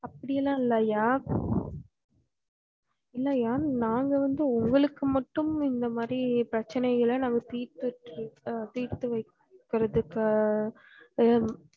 அப்டி எல்லாம் இல்ல ஐயா இல்ல ஐயா நாங்க வந்து உங்களக்கு மட்டும் இந்த மாரி பிரச்னைகள நாங்க தீத்து தீத்துவைக்கிறதுக்கு